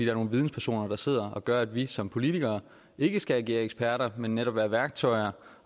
er nogle videnspersoner der sidder med der gør at vi som politikere ikke skal agere eksperter men netop være værktøjer